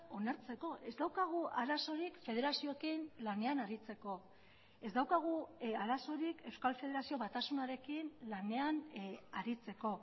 onartzeko ez daukagu arazorik federazioekin lanean aritzeko ez daukagu arazorik euskal federazio batasunarekin lanean aritzeko